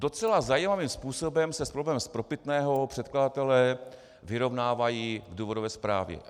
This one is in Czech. Docela zajímavým způsobem se s problémem spropitného předkladatelé vyrovnávají v důvodové zprávě.